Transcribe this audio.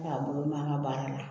K'a bolo mɛn an ka baara la